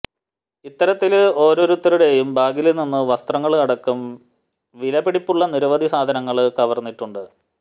ഇത്തരത്തില് ഓരോരുത്തരുടെയും ബാഗില് നിന്നും വസ്ത്രങ്ങള് അടക്കം വില പിടിപ്പുള്ള നിരവധി സാധനങ്ങള് കവര്ന്നിട്ടുണ്ട്